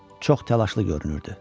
Çox təlaşlı görünürdü.